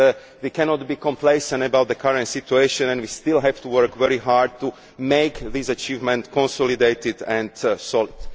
We cannot be complacent about the current situation and we still have to work very hard to make this achievement consolidated and solid.